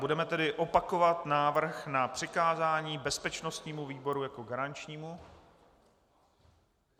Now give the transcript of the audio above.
Budeme tedy opakovat návrh na přikázání bezpečnostnímu výboru jako garančnímu.